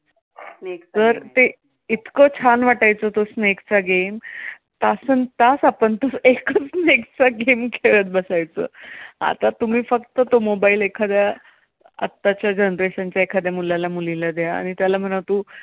इतकं छान वाटायचा तो snake चा game. तासनतास आपण एकच snake चा game खेळत बसायचो. आता तुम्ही फक्त तो mobile एखाद्या आताच्या generation च्या एखाद्या मुलाला मुलीला द्या आणि त्याला म्हणावं तू